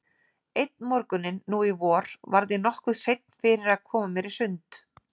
Einn morguninn nú í vor varð ég nokkuð seinn fyrir að koma mér í sund.